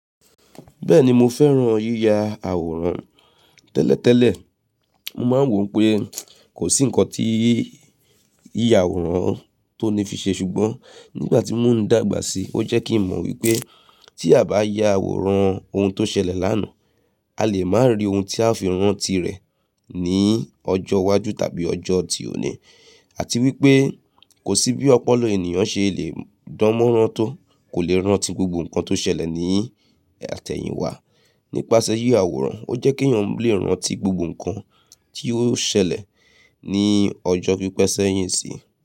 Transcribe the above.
Bẹ́ẹ̀ni mo fẹ́ràn yíya àwòrán. Tẹ́lẹ̀tẹ́lẹ̀, mo máa ń wò pé kò sí ǹkan tí yíya àwòrán tó ní fi ṣe ṣùgbọ́n nígbà tí mo dàgbà si, ó jẹ́ kí mo mọ̀ wípé tí a bá ya àwòrán ohun tó ṣẹlẹ̀ lánàá, a lè máa rí ohun tí a fi rántí rẹ̀ ní ọjọ́ iwájú tàbí ọjọ́ ti òní àti wípé kò sí bí ọpọlọ ènìyàn ṣe le dánmọ́rán tó kò lè rántí gbogbo ǹkan tó ṣẹlẹ̀ ní àtẹ̀yìn wá. Nípasẹ yíya àwòrán, ó jẹ́ kí èyàn lè rántí gbogbo ǹkan tí ó ṣẹlẹ̀ ní ọjọ́ pípẹ́ sẹ́yìn sí.